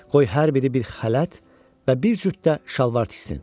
Qoy hər biri bir xələt və bir cüt də şalvar tiksin.